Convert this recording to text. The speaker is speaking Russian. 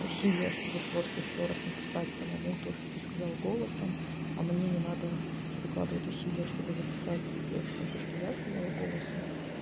усилия чтобы просто ещё раз написать самому то что ты сказал голосом а мне не надо прикладывать усилия чтобы записать текстом то что я сказала голосом